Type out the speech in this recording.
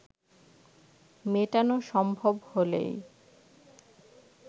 মেটানো সম্ভব হলেই